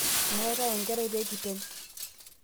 mara enkerai peekitem